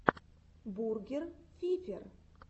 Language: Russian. бургер фифер